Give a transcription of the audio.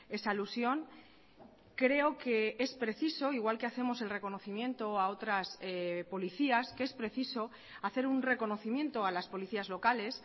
esa alusión creo que es preciso igual que hacemos el reconocimiento a otras policías que es preciso hacer un reconocimiento a las policías locales